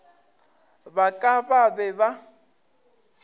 ba ka ba be ba